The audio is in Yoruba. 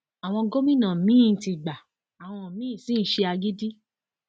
àwọn gómìnà míín ti gbá àwọn miín sì ń ṣe agídí